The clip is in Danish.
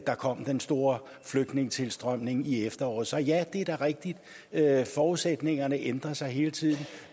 der kom den store flygtningetilstrømning i efteråret så ja det er da rigtigt at forudsætningerne ændrer sig hele tiden